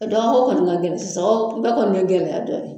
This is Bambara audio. Ɛɛ dɔgɔ ko kɔni ka gɛlɛn sisan wo, bɛɛ kɔni ye gɛlɛya dɔ ye.